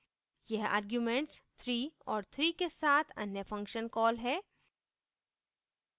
यह arguments 3 और 3 के साथ अन्य function कॉल है